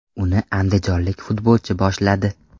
Uni andijonlik futbolchi boshladi.